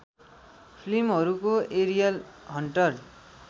फिल्महरूको Ariel hunter